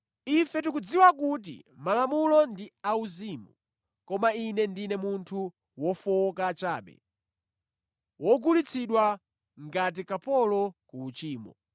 Ife tikudziwa kuti Malamulo ndi auzimu; koma ine ndine munthu wofowoka chabe, wogulitsidwa ngati kapolo ku uchimo.